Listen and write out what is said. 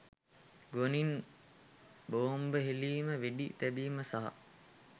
ගුවනින් බෝම්බ හෙළීම වෙඩි තැබීම් සහ